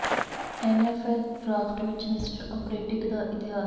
N F L draft ਵਿਚ mister ਅਪਰੇਟਿਕ ਦਾ ਇਤਿਹਾਸ